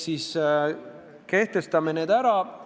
Seega, kehtestame need nõuded ära!